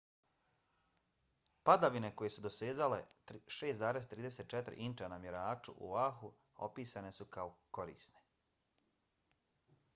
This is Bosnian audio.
padavine koje su dosezale 6,34 inča na mjeraču u oahu opisane su kao korisne